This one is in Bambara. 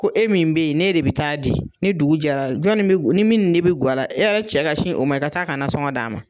Ko e min bɛ yen ne de bɛ taa di, ni dugu jɛra jɔn ni bɛ, ni min de bɛ gara e yɛrɛ cɛ ka sin o ma e ka taa ka nasɔngɔ d'a ma.